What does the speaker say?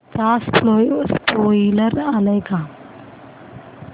चा स्पोईलर आलाय का